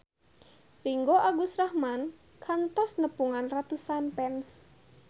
Ringgo Agus Rahman kantos nepungan ratusan fans